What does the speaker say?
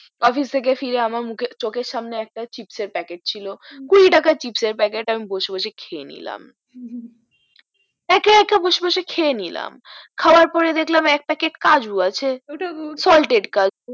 office থেকে ফিরে আমার মুখে আমার চোখের সামনে একটা চিপস এর প্যাকেট ছিল কুড়ি টাকার চিপস এর প্যাকেট আমি বসে বসে খেয়ে নিলাম হু একা একা বসে বসে খেয়ে নিলাম খাওয়ার পরে দেকলাম এক প্যাকেটে কাজু আছে ওটাও foltede কাজু